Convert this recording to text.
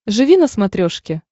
живи на смотрешке